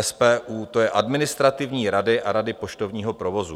SPU, to je Administrativní rady a Rady poštovního provozu.